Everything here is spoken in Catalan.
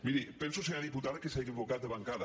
miri penso senyora diputada que s’ha equi·vocat de bancada